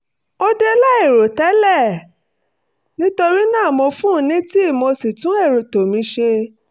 ó dé láìrò tẹ́lẹ̀ nítorí náà mo fún un ní tíì mo sì tún ètò mi ṣe